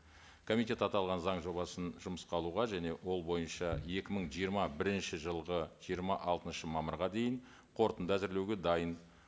комитет аталған заң жобасын жұмысқа алуға және ол бойынша екі мың жиырма бірінші жылғы жиырма алтыншы мамырға дейін қорытынды әзірлеуге дайын